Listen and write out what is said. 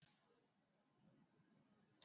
жарыстың ерекшелігі қой емес жылқы асығы тігіледі